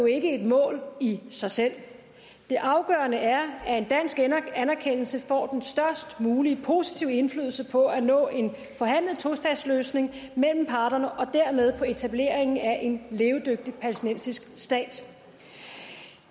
ikke et mål i sig selv det afgørende er at en dansk anerkendelse får den størst mulige positive indflydelse på at nå en forhandlet tostatsløsning mellem parterne og dermed på etableringen af en levedygtig palæstinensisk stat